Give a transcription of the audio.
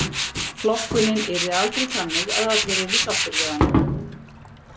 Flokkunin yrði aldrei þannig að allir yrðu sáttir við hana.